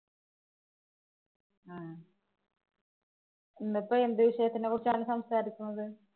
ഇന്നുപ്പൊ എന്തു വിഷയത്തിനെ കുറിച്ചാണ് സംസാരിക്കുന്നത്?